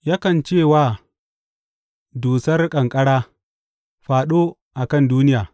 Yakan ce wa dusar ƙanƙara, Fāɗo a kan duniya,’